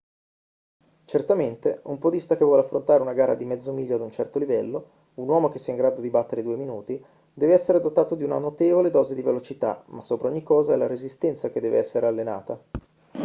certamente un podista che vuole affrontare una gara di mezzo miglio ad un certo livello un uomo che sia in grado di battere i due minuti deve essere dotato di una notevole dose di velocità ma sopra ogni cosa è la resistenza che deve essere allenata